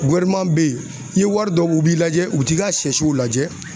be yen. I yewari dɔ, u b'i lajɛ u t'i ka sɛ siw lajɛ.